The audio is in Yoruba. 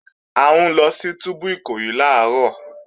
À ń lọ sí túbú Ìkòyí làárọ̀